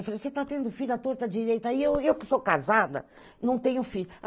Eu falei, você está tendo filho, a torta direita, e eu eu que sou casada, não tenho filho.